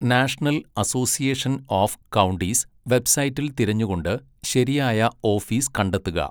National association of counties വെബ്സൈറ്റിൽ തിരഞ്ഞുകൊണ്ട് ശരിയായ ഓഫീസ് കണ്ടെത്തുക.